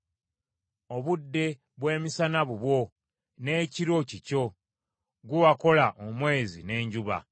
Obudde bw’emisana bubwo, n’ekiro kikyo; ggwe wakola omwezi n’enjuba.